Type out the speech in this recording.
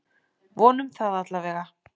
Vonum það allavega!